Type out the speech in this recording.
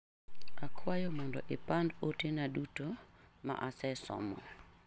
Akwayo mondo ipandd ote na duto ma asesomo.